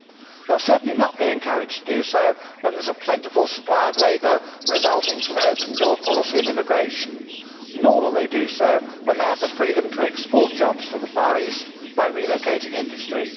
They will certainly not be encouraged to do so when there is a plentiful supply of labour resulting from an open door policy on immigration, nor will they do so when they have the freedom to export jobs to the Far East by relocating industry.